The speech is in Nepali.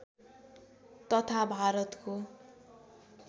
तथा भारतको